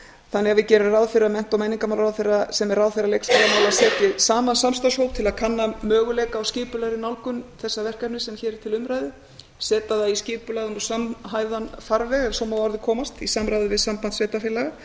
þannig að við gerum ráð fyrir að mennta og menningarmálaráðherra sem er ráðherra leikskólamála setji saman samstarfshóp til að kanna möguleika á skipulagðri nálgun þessa verkefnis sem hér er til umræðu setja það í skipulagðan og samhæfðan farveg ef svo má að orði komast í samráði við samband sveitarfélaga